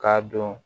K'a dɔn